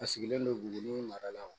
A sigilen don buguni maralaw